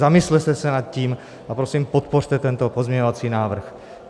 Zamyslete se nad tím a prosím, podpořte tento pozměňovací návrh.